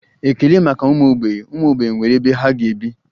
Ekele maka ụmụ mgbei, ụmụ mgbei nwere ebe ha ga-ebi